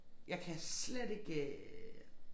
Jeg kan slet ikke øh